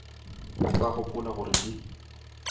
o ka gopola gore di